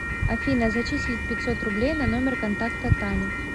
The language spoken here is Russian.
афина зачислить пятьсот рублей на номер контакта таня